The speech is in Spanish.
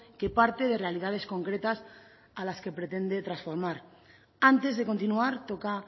que parte de realidades concretas a las que pretende transformar antes de continuar toca